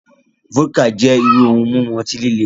Vodka jẹ iru ohun mimu ọti-lile.